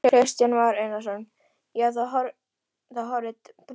Kristján Már Unnarsson: Já, það horfir til bóta?